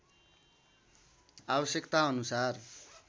आवश्यकता अनुसार